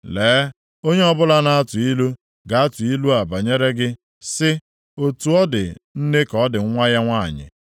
“ ‘Lee, onye ọbụla na-atụ ilu, ga-atụ ilu a banyere gị sị, “Otu ọ dị nne ka ọ dị nwa ya nwanyị.”